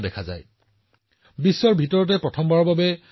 ভাৰতে পৰিবহণৰ বাবে ড্ৰোন ব্যৱহাৰৰ ক্ষেত্ৰত যথেষ্ট পৰিমাণে কাম কৰি আছে